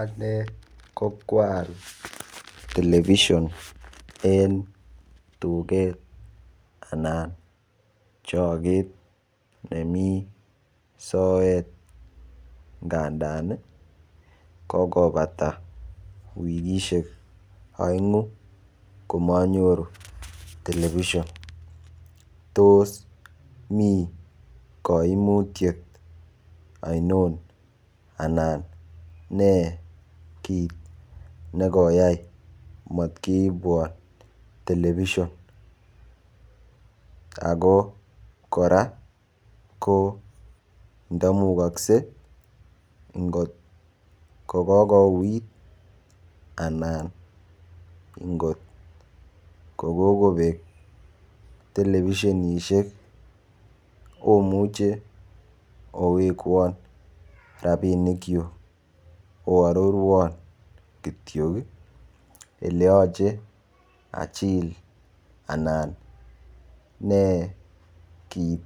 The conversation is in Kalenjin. Anee ko kwaal television en tuket anan choket nemii soet ngandan nii kokopata wikishek oengu komonyoru television tos mii koimutyet oinon anan nee kit nekoyai motkeibwon television ako koraa ko ndomukokse kotko kokouit anan ingot ko komobek televisionishek omuche owekwon rabinik kyuk o ororwon kityoki oleyoche achil anan nee kit